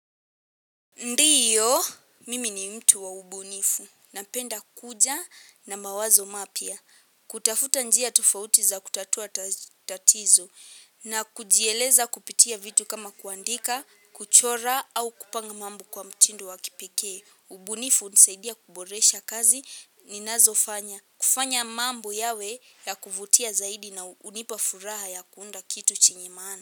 Ndiyo, mimi ni mtu wa ubunifu. Napenda kuja na mawazo mapya. Kutafuta njia tofauti za kutatua tatizo na kujieleza kupitia vitu kama kuandika, kuchora au kupanga mambo kwa mtindo wa kipekee. Ubunifu hunisaidia kuboresha kazi ninazofanya. Kufanya mambo yawe ya kuvutia zaidi na hunipa furaha ya kuunda kitu chenye maana.